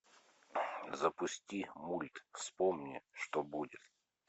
запусти мульт вспомни что будет